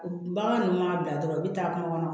Bagan ninnu b'a bila dɔrɔn u bɛ taa kungo kɔnɔ